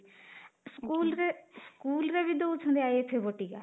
ରେ ସ୍କୁଲ୍ ରେ ବି ଦଉଛନ୍ତି ବଟିକା